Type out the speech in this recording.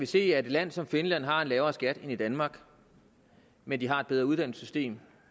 se at et land som finland har en lavere skat end danmark men de har et bedre uddannelsessystem